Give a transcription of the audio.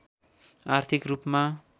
आर्थिक रूपमा